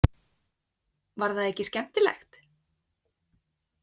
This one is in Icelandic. Var það ekki skemmtilegt?